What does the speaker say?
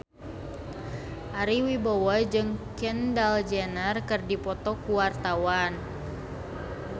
Ari Wibowo jeung Kendall Jenner keur dipoto ku wartawan